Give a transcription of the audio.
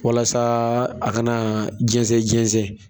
Walasa a kana na jɛnsɛn jɛnsɛn